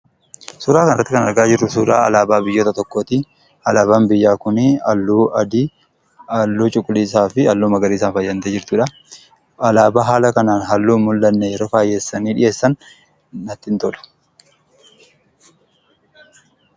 Suuraa kanarratti kan argaa jirru suuraa alaabaa biyya tokkooti. Alaabaan biyyaa kun halluu adii, halluu cuquliisaa fi halluu magariisaan faayamtee jirtudha. Alaabaa haala kanaan halluun faayessanii yeroo dhiyeessan natti hin tolu.